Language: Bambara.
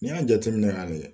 N'i y'a jateminɛ k'a layɛ